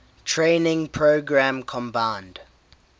training program combined